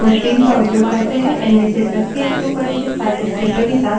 इनमें से प्रत्येक सुपरिचित file descriptor विवरणक के साथ संयुक्त होता है